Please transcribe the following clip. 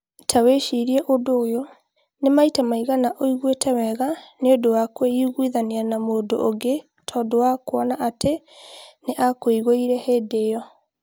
Ta wĩcirie ũndũ ũyũ: Nĩ maita maigana ũiguĩte wega nĩ ũndũ wa kũiguithania na mũndũ ũngĩ tondũ wa kuona atĩ nĩ aakuiguire o hĩndĩ ĩyo?